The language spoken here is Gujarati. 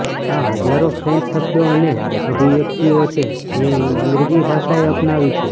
આ હજારો ફ્રેન્ચ શબ્દો અને અભિવ્યક્તિઓ છે જે અંગ્રેજી ભાષાએ અપનાવી છે